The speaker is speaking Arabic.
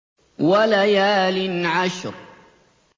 وَلَيَالٍ عَشْرٍ